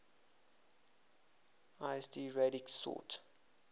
lsd radix sort